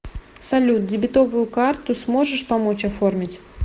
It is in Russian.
салют дебетовую карту сможешь помочь оформить